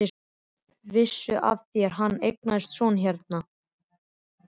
Vissuð þér að hann eignaðist son hér?